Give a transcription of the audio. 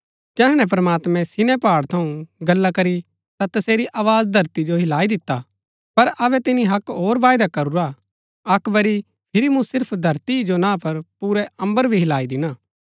जैहणै प्रमात्मैं सिनै पहाड़ थऊँ गल्ला करी ता तसेरी आवाज धरती जो हिलाई दिता पर अबै तिनी अक्क होर वायदा करूरा हा अक्क बरी फिरी मूँ सिर्फ धरती ही जो ना पर पुरा अम्बर भी हिलाई दिणा